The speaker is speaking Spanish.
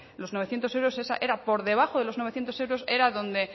los novecientos euros era por debajo de los novecientos euros era donde